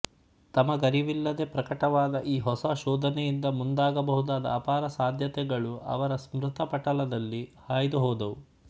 ತಮಗರಿವಿಲ್ಲದೆ ಪ್ರಕಟವಾದ ಈ ಹೊಸ ಶೋಧನೆಯಿಂದ ಮುಂದಾಗಬಹುದಾದ ಅಪಾರ ಸಾಧ್ಯತೆಗಳು ಅವರ ಸ್ಮೃತಿ ಪಟಲದಲ್ಲಿ ಹಾಯ್ದು ಹೋದವು